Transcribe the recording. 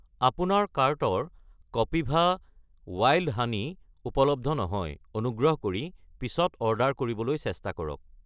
আপোনাৰ কাৰ্টৰ কপিভা ৱাইল্ড হানী উপলব্ধ নহয়, অনুগ্ৰহ কৰি পিছত অৰ্ডাৰ কৰিবলৈ চেষ্টা কৰক।